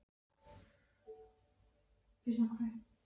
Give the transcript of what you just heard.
Það ónotalega hugboð ásótti mig að niðurstaðan í máli okkar